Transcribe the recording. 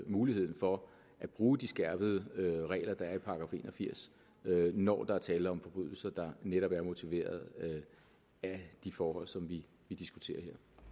muligheden for at bruge de skærpede regler der er i § en og firs når der er tale om forbrydelser der netop er motiveret af de forhold som vi diskuterer